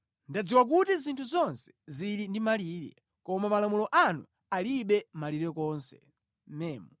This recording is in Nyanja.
Ndadziwa kuti zinthu zonse zili ndi malire, koma malamulo anu alibe malire konse.